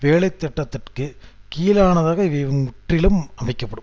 வேலைத்திட்டத்திற்கு கீழானதாக இவை முற்றிலும் அமைக்க படும்